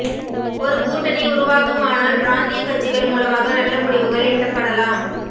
ஒரு கூட்டணி உருவாகுமானால் பிராந்திய கட்சிகள் மூலமாக நல்ல முடிவுகள் எட்டப்படலாம்